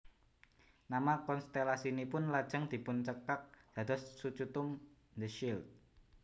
Nama konstelasinipun lajeng dipuncekak dados Sucutum the shield